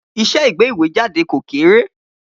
Iṣẹ́ ìgbéwèéjáde kò kéré.